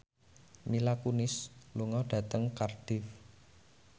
Mila Kunis lunga dhateng Cardiff